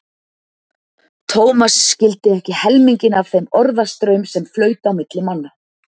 Thomas skildi ekki helminginn af þeim orðastraum sem flaut á milli manna.